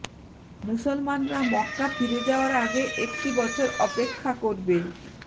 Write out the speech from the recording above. মুসলমানরা মক্কা ফিরে যাওয়ার আগে একটি বছর অপেক্ষা করবে